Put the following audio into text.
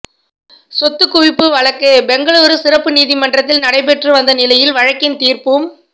சொத்துக்குவிப்பு வழக்கு பெங்களூரு சிறப்பு நீதிமன்றத்தில் நடைபெற்று வந்த நிலையில் வழக்கின் தீர்ப்பும்